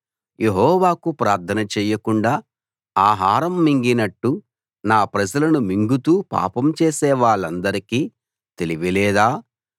యెహోవాకు ప్రార్థన చెయ్యకుండా ఆహారం మింగినట్టు నా ప్రజలను మింగుతూ పాపం చేసేవాళ్ళందరికీ తెలివి లేదా